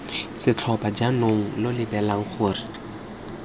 setlhopha jaanong lo lebelela gore